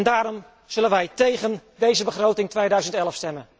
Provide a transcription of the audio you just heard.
Daarom zullen wij tegen de begroting 2011